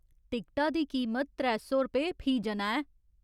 टिकटा दी कीमत त्रै सौ रपेऽ फी जना ऐ।